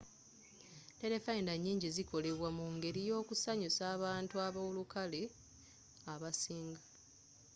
terefayina nyingi zikolebwa mungeri yakusanyusa bantu abolukale abasing